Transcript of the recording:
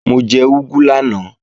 Mo jẹ úgú lánàá